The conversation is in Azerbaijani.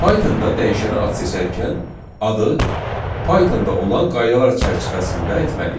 Pythonda dəyişənə ad seçərkən adı Pythonda olan qaydalar çərçivəsində etməliyik.